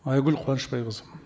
айгүл қуанышбайқызы